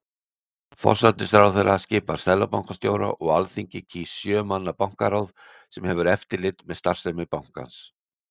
Forsætisráðherra skipar seðlabankastjóra og Alþingi kýs sjö manna bankaráð sem hefur eftirlit með starfsemi bankans.